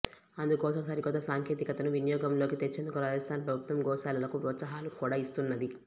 అందుకోసం సరికొత్త సాంకేతికతను వినియోగంలోకి తెచ్చేందుకు రాజస్థాన్ ప్రభుత్వం గోశాలలకు ప్రోత్సాహకాలు కూడా ఇస్తున్నది